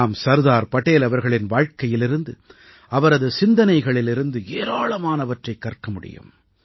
நாம் சர்தார் படேல் அவர்களின் வாழ்க்கையிலிருந்து அவரது சிந்தனைகளிலிருந்து ஏராளமானவற்றைக் கற்க முடியும்